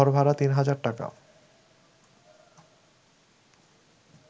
ঘরভাড়া তিন হাজার টাকা